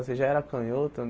Você já era canhoto?